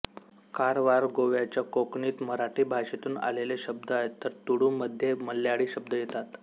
कारवारगोव्याच्या कोकणीत मराठी भाषेतून आलेले शब्द आहेत तर तुळुमध्ये मल्याळी शब्द येतात